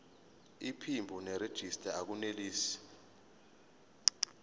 iphimbo nerejista akunelisi